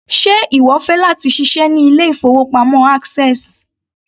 Ṣe ìwọ fẹ́ láti ṣiṣẹ́ ní ilé-ìfowópamọ́ access?